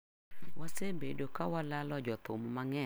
Wasebedo ka walalo jothum mang'eny ma nigi lony e higini mosekalo.